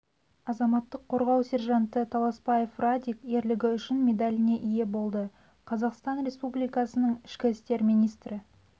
азаматтық қорғау сержанты таласбаев радик ерлігі үшін медаліне ие болды қазақстан республикасының ішкі істер министрі